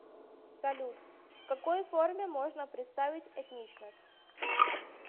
салют в какой форме можно представить этничность